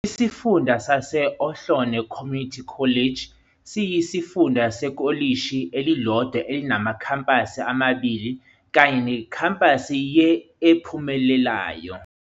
Isifunda sase-Ohlone Community College siyisifunda sekolishi elilodwa elinamakhampasi amabili kanye nekhampasi ye-e ephumelelayo.